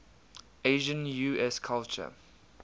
asian usculture